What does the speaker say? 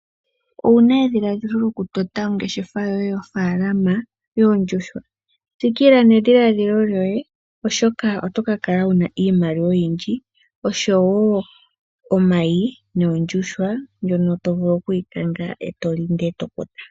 Owuna edhiladhilo lyo ku tota ongeshefa yoye yo faalama yoondjuhwa. Tsikila nedhiladhilo lyoye oshoka oto ka kala wuna iimaliwa oyindji . Osho woo omayi nondjuhwa ndjono tovulu oku yi kanga eto li ngoye eto kotha.